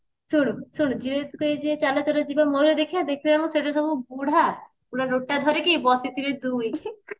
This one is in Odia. ଶୁଣୁ ଶୁଣୁ ଝିଅମାନେ ଯେବେ କହିବେ ଚାଲ ଚାଲ ଯିବା ମୟୁର ଦେଖିବା ଦେଖିଲା ବେଳକୁ ସେଠିସବୁ ବୁଢା ଗୋଟେ ରୋଟା ଧରିକି ବସିଥିବେଦୁଇ